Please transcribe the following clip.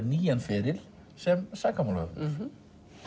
nýjan feril sem sakamálahöfundur